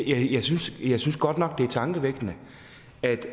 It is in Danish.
jeg synes godt nok det er tankevækkende